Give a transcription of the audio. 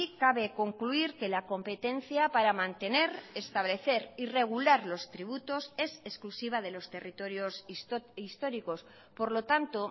cabe concluir que la competencia para mantener establecer y regular los tributos es exclusiva de los territorios históricos por lo tanto